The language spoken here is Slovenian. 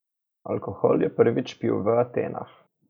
Alkohol je prvič pil v Atenah.